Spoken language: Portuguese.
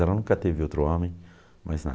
Ela nunca teve outro homem, mais nada.